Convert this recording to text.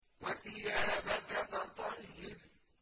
وَثِيَابَكَ فَطَهِّرْ